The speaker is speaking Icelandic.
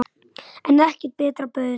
En ekkert betra bauðst.